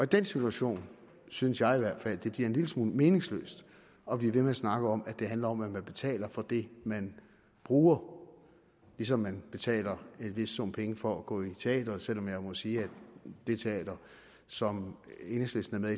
den situation synes jeg i hvert fald at det bliver en lille smule meningsløst at blive ved med at snakke om at det handler om at man betaler for det man bruger ligesom man betaler en vis sum penge for at gå i teatret selv om jeg må sige at det teater som enhedslisten er